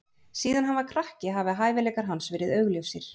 Síðan hann var krakki hafa hæfileikar hans verið augljósir.